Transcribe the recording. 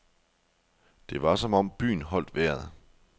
Det var som om byen holdt vejret.